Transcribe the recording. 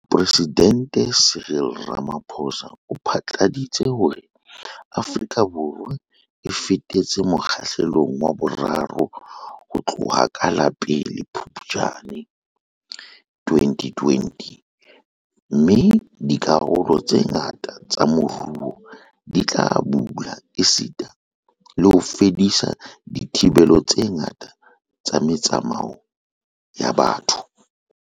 Mopresidente Cyril Ramaphosa o phatlaladitse hore Afrika Borwa e fetetse Mo kgahlelong wa 3 ho tloha ka la 1 Phuptjane 2020 - mme dikarolo tse ngata tsa moruo di tla bula esita le ho fedisa dithibelo tse ngata tsa me tsamao ya batho.